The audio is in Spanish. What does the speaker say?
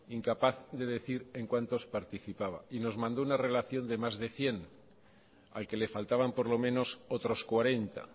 incapaz de decir en cuántos participaba y nos mandó una relación de más de cien al que le faltaban por lo menos otros cuarenta